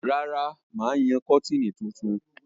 Rárá, mà á yan kọ́tìnì funfun.